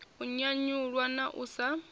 u nyanyulwa na u sa